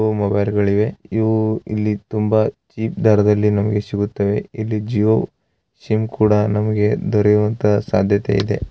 ಇವು ಮೊಬೈಲುಗಳಿವೆ ಇವು ಇಲ್ಲಿ ತುಂಬಾ ಚೀಪ್‌ ದರದಲ್ಲಿ ನಮಗೆ ಸಿಗುತ್ತವೆ ಇಲ್ಲಿ ಜಿಯೋ ಸಿಮ್‌ ಕೂಡ ನಮಗೆ ದೊರೆಯುವಂತ ಸಾಧ್ಯತೆ ಇದೆ.